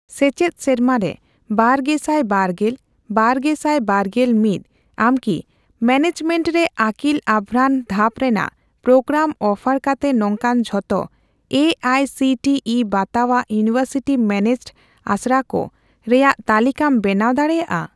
ᱥᱮᱪᱮᱫ ᱥᱮᱨᱢᱟᱨᱮ ᱵᱟᱨᱜᱮᱥᱟᱭ ᱵᱟᱨᱜᱮᱞᱼᱵᱟᱨᱜᱮᱥᱟᱭ ᱵᱟᱨᱜᱮᱞ ᱢᱤᱛ ᱟᱢᱠᱤ ᱢᱮᱱᱮᱡᱢᱮᱱᱴ ᱨᱮ ᱟᱹᱠᱤᱞ ᱟᱵᱷᱨᱟᱱ ᱫᱷᱟᱯ ᱨᱮᱱᱟᱜ ᱯᱨᱳᱜᱨᱟᱢ ᱚᱯᱷᱟᱨ ᱠᱟᱛᱮ ᱱᱚᱝᱠᱟᱱ ᱡᱷᱚᱛᱚ A I C T E ᱵᱟᱛᱟᱣᱟᱜ ᱤᱭᱩᱱᱤᱣᱮᱨᱥᱤᱴᱤ ᱢᱮᱱᱮᱡᱰ ᱟᱥᱲᱟᱠᱩ ᱨᱮᱭᱟᱜ ᱛᱟᱞᱠᱟᱹᱢ ᱵᱮᱱᱟᱣ ᱫᱟᱲᱮᱭᱟᱜᱼᱟ ?